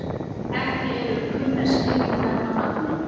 Ekki eru kunnar skýringar á nafninu.